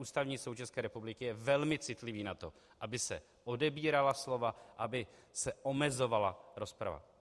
Ústavní soud České republiky je velmi citlivý na to, aby se odebírala slova, aby se omezovala rozprava.